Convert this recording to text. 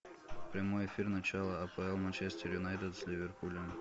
прямой эфир начала апл манчестер юнайтед с ливерпулем